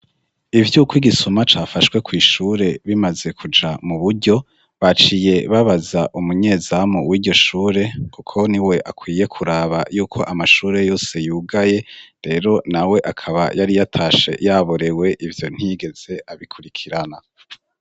Ivyuko igisuma cafashwe kw'ishure bimaze kuja mu buryo, baciye babaza umunyezamu w'iryo shure, kuko ni we akwiye kuraba yuko amashure yose yugaye, rero nawe akaba yari yatashe yaborewe, ivyo ntiyigeze abikurikirana.